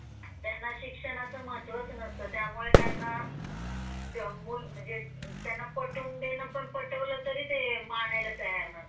त्यांना शिक्षणाचे महत्त्व नास्ता त्यामुळे त्यांना म्हणजे पटवून देणे पटवलं तरी ते मानायला तयार नसतात.